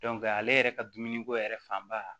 ale yɛrɛ ka dumuni ko yɛrɛ fanba